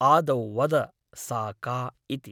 आदौ वद सा का इति ।